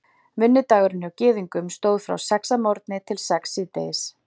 Vinnudagurinn hjá Gyðingum stóð frá sex að morgni til sex síðdegis.